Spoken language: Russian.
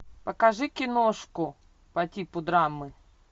покажи киношку по типу драмы